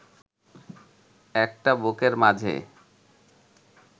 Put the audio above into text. একটা বুকের মাঝে